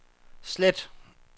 slet